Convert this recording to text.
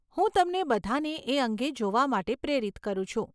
હું તમને બધાંને એ અંગે જોવા માટે પ્રેરિત કરું છું.